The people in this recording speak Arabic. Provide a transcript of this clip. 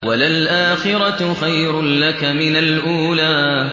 وَلَلْآخِرَةُ خَيْرٌ لَّكَ مِنَ الْأُولَىٰ